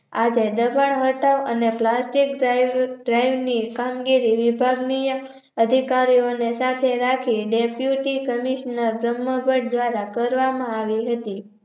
આજે દબાણ હતા અને ની કામગીરી વિભાગનીય અધિકારી ઓને સાથે રાખી Deputy Commissioner બ્રમ્હભટ્ટ દ્વારા કરવામાં આવી હતી